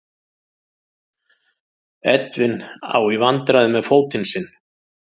Edwin á í vandræðum með fótinn sinn.